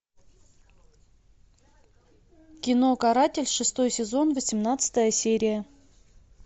кино каратель шестой сезон восемнадцатая серия